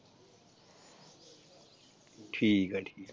ਠੀਕ ਆ ਠੀਕ।